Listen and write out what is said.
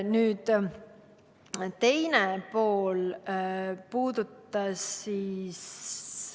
Nüüd, teine pool puudutas ...